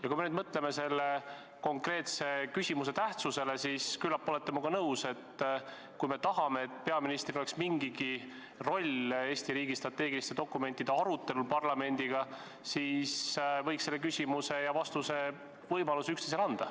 Ja kui me mõtleme selle konkreetse küsimuse tähtsusele, siis küllap olete minuga nõus, et kui me tahame, et peaministril oleks mingigi roll Eesti riigi strateegiliste dokumentide arutelus parlamendiga, siis võiks küsimise ja vastamise võimaluse üksteisele anda.